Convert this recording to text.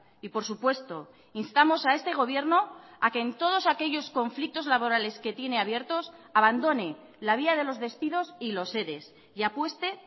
y por supuesto instamos a este gobierno a que en todos aquellos conflictos laborales que tiene abiertos abandone la vía de los despidos y los ere y apueste